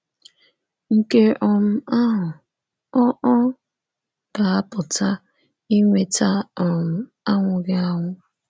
Nke um ahụ ọ̀ ọ̀ ga-apụta inweta um anwụghị anwụ.